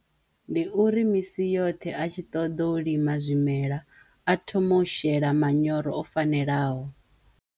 Ndi uri misi yoṱhe a tshi ṱoḓo u lima zwimela a thome u shela manyoro o fanelaho.